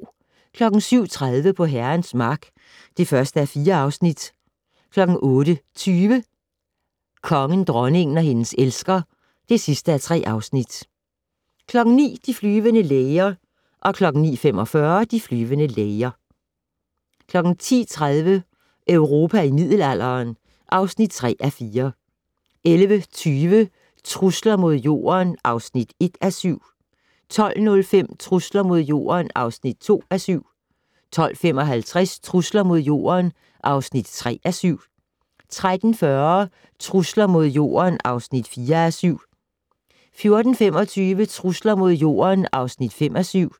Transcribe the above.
07:30: På Herrens Mark (1:4) 08:20: Kongen, dronningen og hendes elsker (3:3) 09:00: De flyvende læger 09:45: De flyvende læger 10:30: Europa i middelalderen (3:4) 11:20: Trusler mod Jorden (1:7) 12:05: Trusler mod Jorden (2:7) 12:55: Trusler mod Jorden (3:7) 13:40: Trusler mod Jorden (4:7) 14:25: Trusler mod Jorden (5:7)